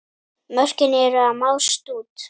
Mörkin eru að mást út.